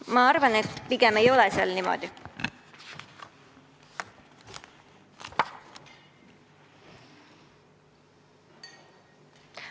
Ma arvan, et pigem ei ole seal niimoodi kirjas.